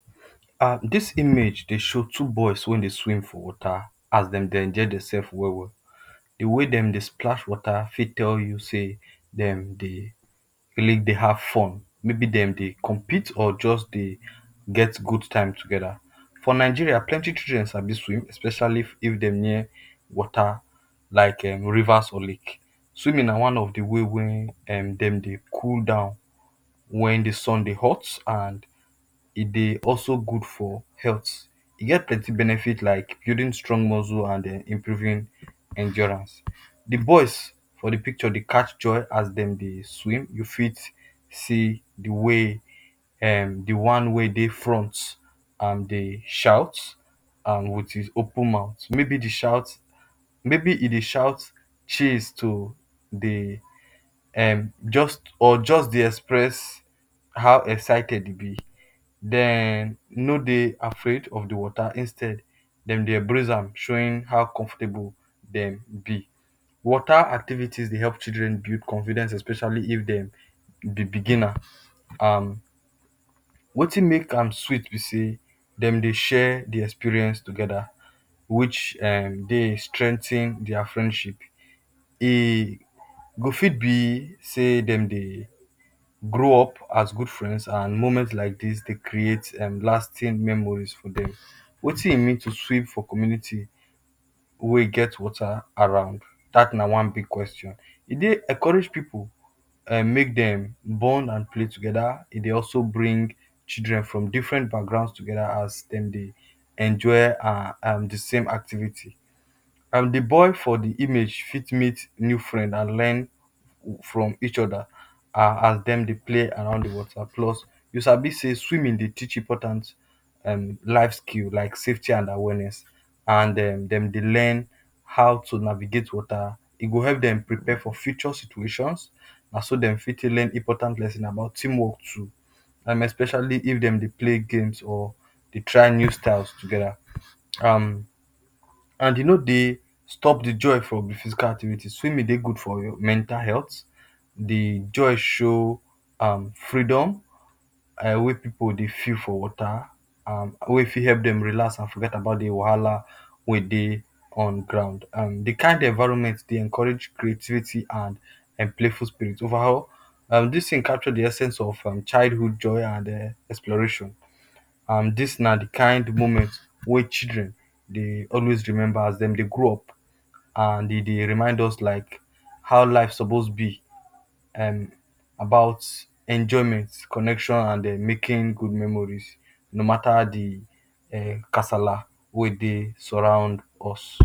um This image dey show two boys wey dey swim for water as dem dey enjoy demself well well. The wey dem dey splash water fit tell you sey dem dey really dey have fun, may be dem dey compete or just dey get good time together. For Nigeria, plenty children sabi swim especially if dem near water like um rivers or lake. Swimming na one of the way wey dem um dey cool down when the sun dey hot, and e dey also good for health. E get plenty benefit like building strong muscle and um improving endurance. The boys for the picture dem dey catch joy as dem dey swim you fit see the way um dey one wey dey front um dey shout um with his open mouth may he dey shout chase to dey um just or just dey express how excited e be dem no dey afraid of the water instead dem dey embrace am showing how comfortable dem be. water activities dey help children build confidence especially if dem be beginner um wetin make am sweet be sey dem dey share the experience together which um dey strengthen their friendship. E go fit be sey dem dey grow up as good friend and moment like this dey create um lasting memory with dem. Wetin e mean to swim for community wey get water around? That na one big question. E dey encourage pipu um make dem bond and play together, e dey also bring children from different background together as dem dey enjoy um the same activity. um The boy for the image fit meet new friend and learn from each other as um dem dey play around the water. You sabi sey swimming dey teach important um life skill like safety and awareness and um dem dey learn how to navigate water. E dey help dem dey prepare for future situation naso dem fit learn important lesson about team work too um especially if dem dey play game and um dey try new style together um and e no dey stop the joy from physical activity, swimming dey good for your mental health, e dey join show um freedom wey pipu go dey feel for water, wey fit help dem relax and forget the wahala wey dey on ground. um The kind environment dey encourage creativity and playful spirit over all. um This thing capture the essence of childhood joy and exploration, um di na di kind moment wey children dey always remember as dem dey grow up and e dey remind like how life suppose be and about enjoyment, connection and um making good memories no matter the casala um wey dey surround us.